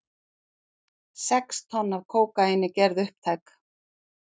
Sex tonn af kókaíni gerð upptæk